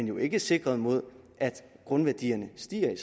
jo ikke sikret mod at grundværdierne stiger